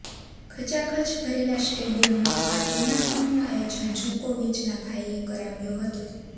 ખચાખચ ભરેલા સ્ટેડિયમમાં આ ટૂર્નામેન્ટનું આયોજન જોકોવિચના ભાઇએ કરાવ્યો હતો